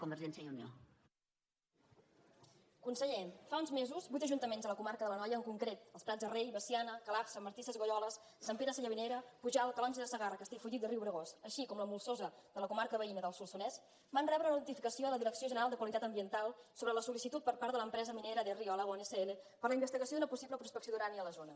conseller fa uns mesos vuit ajuntaments de la comarca de l’anoia en concret els prats de rei veciana calaf sant martí sesgueioles sant pere sallavinera pujalt calonge de segarra castellfollit del riubregós i també la molsosa de la comarca veïna del solsonès van rebre una notificació de la direcció general de qualitat ambiental sobre la solminera de río alagón sl per a la investigació d’una possible prospecció d’urani a la zona